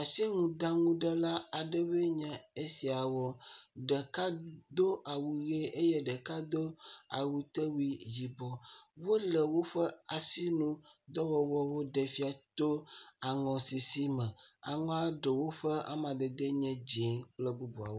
Asinuɖaŋuɖela aɖewoe nye esiawo ɖeka do awu ʋi eye ɖeka do awutewui yibɔ wolo woƒe asinudɔ ɖem fia to aŋɔsisi me, aŋɔa ɖewo ƒe amadedewoe nye dzɛ̃kple bubuawo.